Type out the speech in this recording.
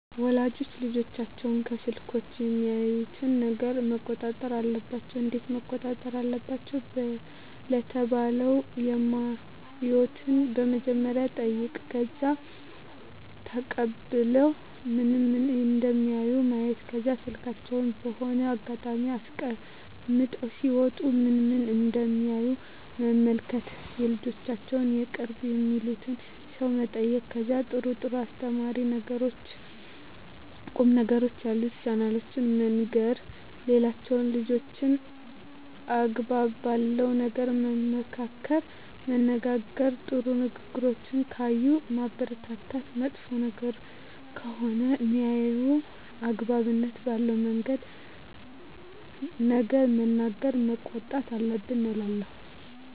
ወላጆች ልጆቻቸውን ከስልኮች የሚያዩትን ነገረ መቆጣጠር አለባቸው እንዴት መቆጣጠር አለባቸው ለተባለው የማዩትን በመጀመሪያ መጠይቅ ከዛ ተቀብሎ ምን ምን እደሚያዩ ማየት ከዛ ስልካቸውን በሆነ አጋጣሚ አስቀምጠው ሲወጡ ምን ምን እደሚያዩ መመልከት የልጆቻቸውን የቅርብ የሚሉትን ሰው መጠየቅ ከዛ ጥሩ ጥሩ አስተማሪ ቁም ነገሮችን ያሉትን ቻናሎችን መንገር ሌላው ልጆችን አግባብ ባለው ነገር መመካከር መነጋገር ጥሩ ነገሮችን ካየ ማበረታታት መጥፎ ነገር ከሆነ ሜያየው አግባብነት ባለው ነገር መናገር መቆጣት አለብን እላለው